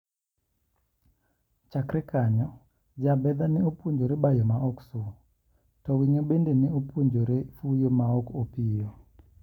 Chakre kanyo Jaabedha ne opunjore bayo maok su, to winjo bende ne opuonjore fuyo maok opiyo.